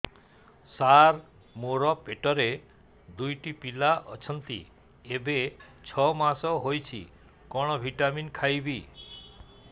ସାର ମୋର ପେଟରେ ଦୁଇଟି ପିଲା ଅଛନ୍ତି ଏବେ ଛଅ ମାସ ହେଇଛି କଣ ଭିଟାମିନ ଖାଇବି